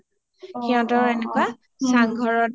সিহতৰো এনেকুৱা